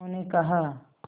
उन्होंने कहा